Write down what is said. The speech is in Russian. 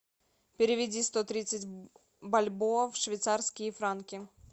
переведи сто тридцать бальбоа в швейцарские франки